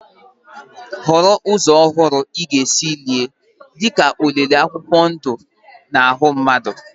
Họrọ ụzọ ọhụrụ na nke ọhụrụ ị ga-esi lie, dị ka olili akwụkwọ ndụ akwụkwọ ndụ ma ọ bụ ịhịa aka n'ahụ mmadụ